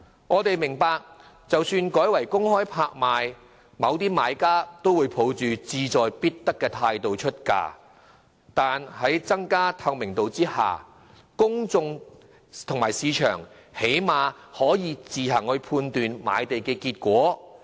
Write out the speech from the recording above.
我們明白即使改為公開拍賣，某些買家仍會抱着志在必得的態度出價，但在增加透明度下，公眾及市場最少可以自行判斷賣地結果。